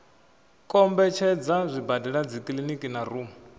kombetshedza zwibadela dzikiliniki na rumu